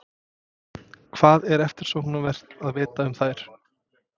Hvað er eftirsóknarvert að vita um þær?